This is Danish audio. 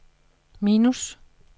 minus